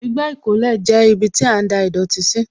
Igbá ìkólẹ̀ jẹ́ ibiti a ń da ìdọ̀tí sí